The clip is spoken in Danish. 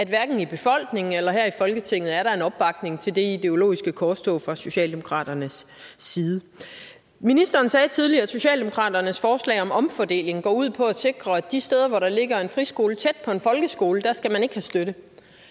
hverken i befolkningen eller her i folketinget er opbakning til det ideologiske korstog fra socialdemokraternes side ministeren sagde tidligere at socialdemokraternes forslag om omfordeling går ud på at sikre at de steder hvor der ligger en friskole tæt på en folkeskole skal man ikke have støtte